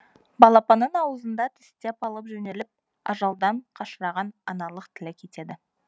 балапанын аузына тістеп алып жөнеліп ажалдан қашырған аналық тілек етеді